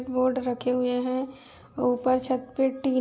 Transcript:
Board रखे हुए हैं। ऊपर छत पे टी --